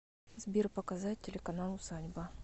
сбер показать телеканал усадьба